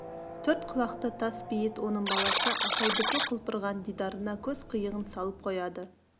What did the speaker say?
төрт құлақты тас бейіт оның баласы асаудікі құлпырған дидарына көз қиығын салып қояды